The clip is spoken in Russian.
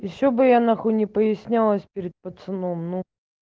ещё бы я на х не прояснялось перед пацаном ну